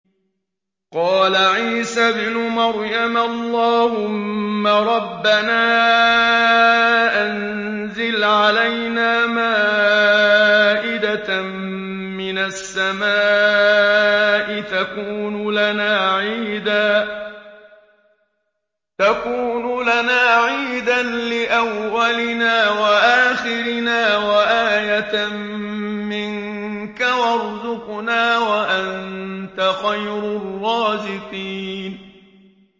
قَالَ عِيسَى ابْنُ مَرْيَمَ اللَّهُمَّ رَبَّنَا أَنزِلْ عَلَيْنَا مَائِدَةً مِّنَ السَّمَاءِ تَكُونُ لَنَا عِيدًا لِّأَوَّلِنَا وَآخِرِنَا وَآيَةً مِّنكَ ۖ وَارْزُقْنَا وَأَنتَ خَيْرُ الرَّازِقِينَ